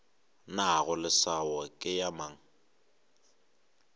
nago leswao ke ya mang